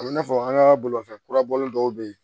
A bɛ n'a fɔ an ka bolifɛn kura bɔlen dɔw bɛ yen